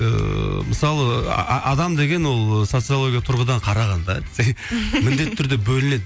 ыыы мысалы адам деген ол социалогиялық тұрғыдан қарағанда десең міндетті түрде бөлінеді